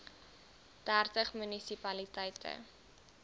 dertig munisi paliteite